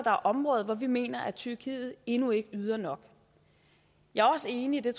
er områder hvor vi mener at tyrkiet endnu ikke yder nok jeg er også enig og